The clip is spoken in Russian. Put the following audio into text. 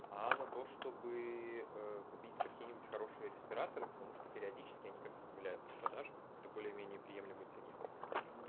а она то чтобы ээ купить какие-нибудь хорошие респираторы потому что периодически они какбы появляются в продаже по как бы более-менее приемлемой цене